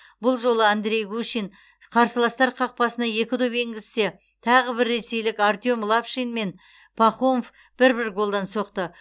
бұл жолы андрей гущин қарсыластар қақпасына екі доп енгізсе тағы бір ресейлік артем лапшин мен пахомов бір бір голдан соқты